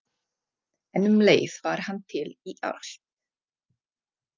En um leið var hann til í allt.